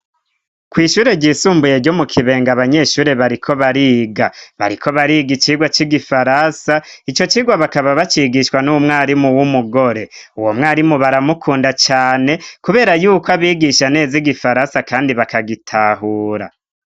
Kw'ishure ryisumbuye ryo mu Kibenga abanyeshuri bariko bariga, bariko bariga icigwa cy'igifaransa, ico cigwa bakaba bacigishwa n'umwarimu w'umugore. Uwo mwarimu baramukunda cane kubera yuko abigisha neza igifaransa kandi bakagitahura.